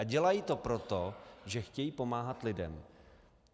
A dělají to proto, že chtějí pomáhat lidem.